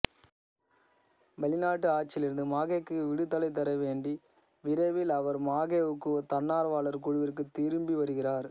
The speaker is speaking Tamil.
வெளிநாட்டு ஆட்சியிலிருந்து மாஹெவுக்கு விடுதலைதரவேண்டி விரைவில் அவர் மாஹேவுக்கு தன்னார்வலர் குழுவிற்குத் திரும்பி வருகிறார்